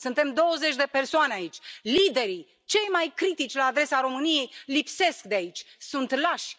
Suntem douăzeci de persoane aici liderii, cei mai critici la adresa României, lipsesc de aici, sunt lași.